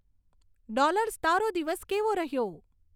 dollars તારો દિવસ કેવો રહ્યો